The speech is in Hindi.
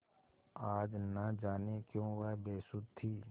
आज न जाने क्यों वह बेसुध थी